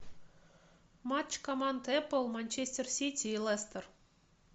матч команд апл манчестер сити и лестер